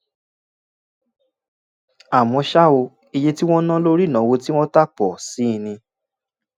àmọ́ ṣá o iye tí wọ́n ná lórí ìnáwó tí wọ́n tà pọ̀ sí i ní